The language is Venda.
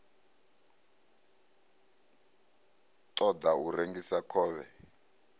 ṱo ḓa u rengisa khovhe